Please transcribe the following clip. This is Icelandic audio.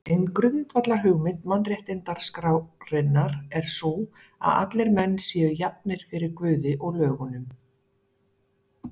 Ein grundvallarhugmynd mannréttindaskrárinnar er sú, að allir menn séu jafnir fyrir Guði og lögunum.